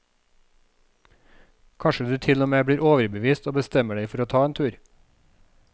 Kanskje du til og med blir overbevist og bestemmer deg for å ta en tur.